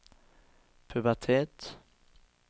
pubertet